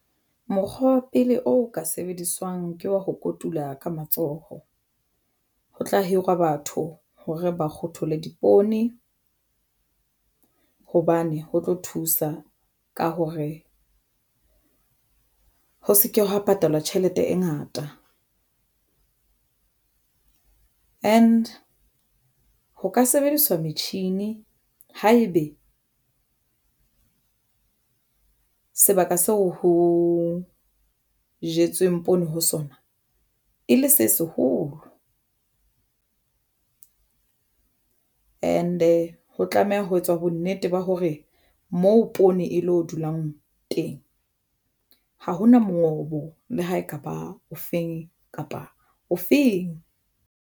Mokgwa wa pele o ka sebediswang ke wa ho kotula ka matsoho ho tla hirwa batho hore ba kgothole dipoone hobane ho tlo thusa ka hore ho se ke hwa patalwa tjhelete e ngata and ho ka sebediswa metjhini haebe sebaka seo ho jetsweng poone ho sona e le se seholo. And-e ho tlameha ho etswa bonnete ba hore moo poone e lo dulang teng ha hona mongobo le ha ekaba o feng kapa o feng.